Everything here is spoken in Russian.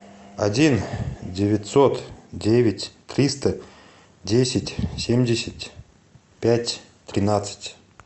один девятьсот девять триста десять семьдесят пять тринадцать